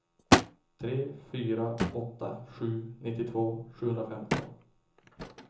tre fyra åtta sju nittiotvå sjuhundrafemton